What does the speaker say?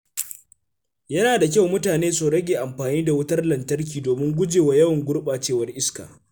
Yana da kyau mutane su rage amfani da wutar lantarki domin gujewa yawan gurɓacewar iska.